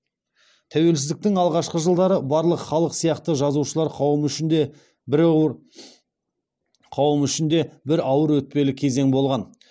тәуелсіздіктің алғашқы жылдары барлық халық сияқты жазушылар қауымы үшін де бір ауыр өтпелі кезең болған